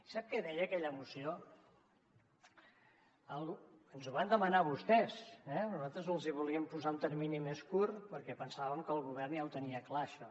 sap què deia aquella moció ens ho van demanar vostès eh nosaltres els hi volíem posar un termini més curt perquè pensàvem que el govern ja ho tenia clar això